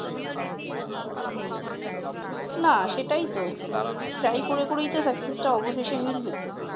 নাহ সেটাইতো । try করে করেই তো scuccess অবশেষে মিলবে ।